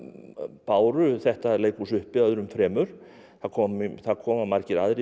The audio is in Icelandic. báru þetta leikhús uppi öðrum fremur það koma það koma margir aðrir við